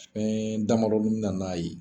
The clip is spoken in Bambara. Fɛn damadɔ bɛ na n'a ye